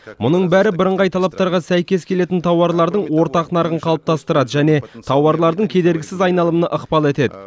мұның бәрі бірыңғай талаптарға сәйкес келетін тауарлардың ортақ нарығын қалыптастырады және тауарлардың кедергісіз айналымына ықпал етеді